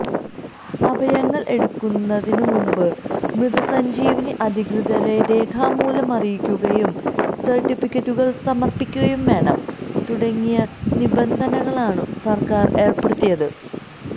അവയവങ്ങൾ എടുക്കുന്നതിനു മുൻപു മൃതസഞ്ജീവനി അധികൃതരെ രേഖാമൂലം അറിയിക്കുകയും സർട്ടിഫിക്കറ്റുകൾ സമർപ്പിക്കുകയും വേണം തുടങ്ങിയ നിബന്ധനകളാണു സർക്കാർ ഏർപ്പെടുത്തിയത്